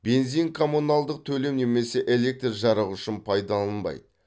бензин коммуналдық төлем немесе электр жарығы үшін пайдаланбайды